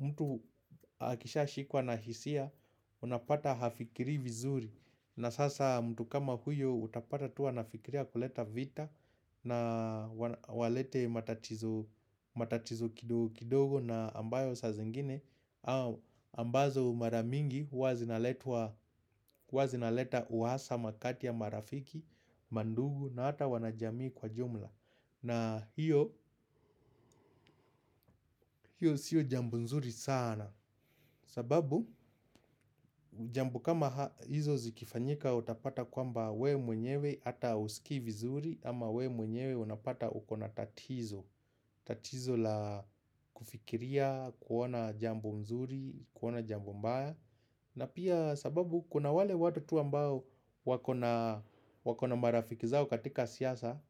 mtu akishashikwa na hisia unapata hafikirii vizuri na sasa mtu kama huyo utapata tu anafikiria kuleta vita na walete matatizo kidogo na ambayo saa zingine ambazo mara mingi huwa zinaleta uhasama kati ya marafiki, mandugu na ata wanajamii kwa jumla na hiyo siyo jambo nzuri sana sababu, jambo kama hizo zikifanyika utapata kwamba we mwenyewe ata uskii vizuri ama we mwenyewe unapata ukona tatizo tatizo la kufikiria, kuona jambo mzuri, kuona jambo mbaya na pia sababu, kuna wale watu tu ambao wakona marafiki zao katika siasa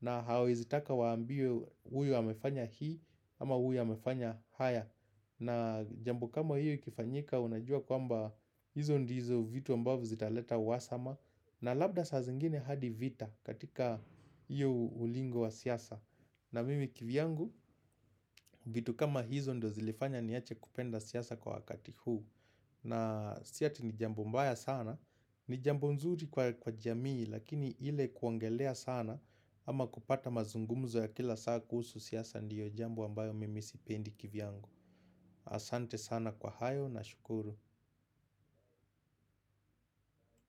na hawaezi taka waambiwe huyu amefanya hii ama huyu amefanya haya na jambo kama hiyo ikifanyika unajua kwamba hizo ndizo vitu ambavo zitaleta uhasama na labda saa zingine hadi vita katika hiyo ulingo wa siasa na mimi kivyangu vitu kama hizo ndo zilifanya niache kupenda siasa kwa wakati huu na si ati ni jambo mbaya sana ni jambo mzuri kwa jamii lakini ile kuongelea sana ama kupata mazungumzo ya kila saa kuhusu siasa ndio jambo ambayo mimi sipendi kivyangu Asante sana kwa hayo na shukuru.